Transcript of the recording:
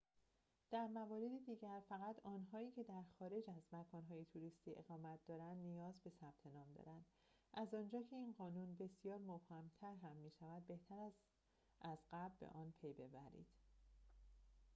در موارد دیگر فقط آنهایی که در خارج از مکان‌های توریستی اقامت دارند نیاز به ثبت نام دارند از آنجا که این قانون بسیار مبهم‌تر هم می‌شود بهتر است از قبل به آن پی‌ببرید